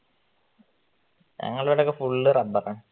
ഞങ്ങളുടെ ഇവിടെയൊക്കെ ഫുള്ള് റബറാ